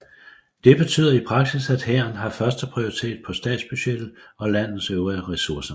Det betyder i praksis at hæren har første prioritet på statsbudgettet og landets øvrige ressourcer